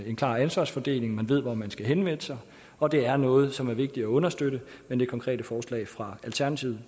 en klar ansvarsfordeling man ved hvor man skal henvende sig og det er noget som er vigtigt at understøtte men det konkrete forslag fra alternativet